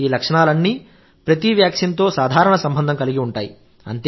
ఈ లక్షణాలన్నీ ప్రతి వ్యాక్సిన్తో సాధారణ సంబంధం కలిగి ఉంటాయి